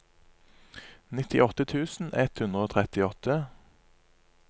nittiåtte tusen ett hundre og trettiåtte